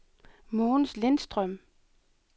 Mogens Lindstrøm